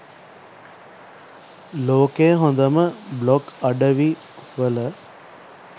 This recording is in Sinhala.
ලෝකයේ හොදම බ්ලොග් අඩවි වල